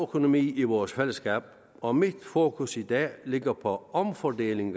økonomi i vores fællesskab og mit fokus i dag ligger på omfordelingen